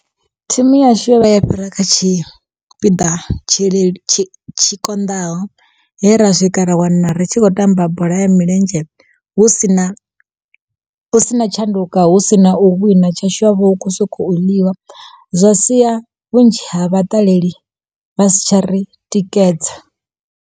Thimu yashu yo vhuya ya fhira kha tshipiḓa tshi tshi konḓaho he ra swika ra wana ri tshi khou tamba bola ya milenzhe, hu sina hu si na tshanduko hu sina u wina tshashu havho hu kho soko ḽiwa zwa siya vhunzhi ha vhaṱaleli vha si tsha ri tikedza.